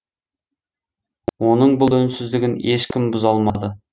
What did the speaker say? оның бұл үнсіздігін ешкім бұза алмады